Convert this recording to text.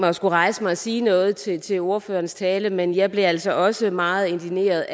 mig at skulle rejse mig og sige noget til til ordførerens tale men jeg blev altså også meget indigneret